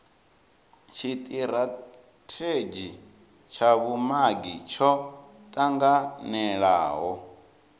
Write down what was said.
tshitirathedzhi tsha vhumagi tsho tanganelaho